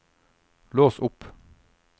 lås opp